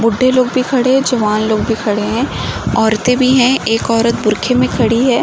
बूढ़े लोग भी खड़े हैं। जवान लोग भी खड़े हैं। औरतें भी हैं। एक औरत बुरखे में खड़ी है।